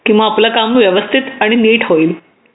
की मग आपलं काम व्यवस्थित आणि नीट होईल